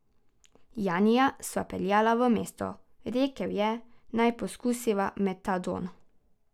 Janija sva peljala v mesto, rekel je, naj poskusiva metadon.